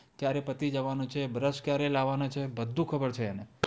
કયારે પતિ જવાનો છે બ્રશ ક્યારે લાવવાનો છે બધું ખબર છે અને